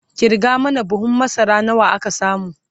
kirga mana buhun masara nawa aka samu!